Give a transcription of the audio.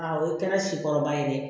o ye kɛnɛ si kɔrɔba ye dɛ